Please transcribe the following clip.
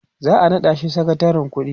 za'a naɗa shi sakatarin ƙuɗi